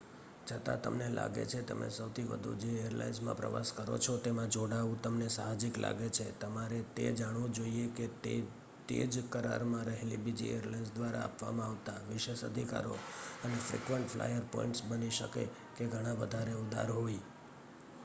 છતાં તમને લાગે છે તમે સૌથી વધુ જે એરલાઇન્સ માં પ્રવાસ કરો છો તેમાં જોડાવું તમને સાહજિક લાગે છે તમારે તે જાણવું જોઈએ કે તે જ કરાર માં રહેલ બીજી એરલાઇન્સ દ્વારા આપવામાં આવતા વિશેષ અધિકારો અને ફ્રિકવંટ ફ્લાયર પોઇન્ટ્સ બની શકે કે ઘણા વધારે ઉદાર હોય